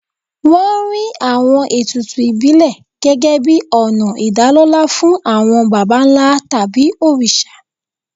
Wọ́n rí àwọn ètùtù ìbílẹ̀ gẹ́gẹ́ bíi ọ̀nà ìdálọ́lá fún àwọn baba ńlá tàbí òrìṣà.